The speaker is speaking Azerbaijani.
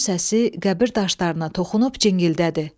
Onun səsi qəbir daşlarına toxunub cingildədi.